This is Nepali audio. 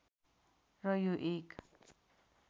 र यो एक